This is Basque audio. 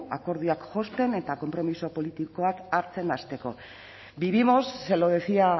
akordioak josten eta konpromiso politikoak hartzen hasteko vivimos se lo decía